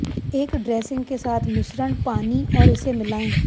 एक ड्रेसिंग के साथ मिश्रण पानी और इसे मिलाएं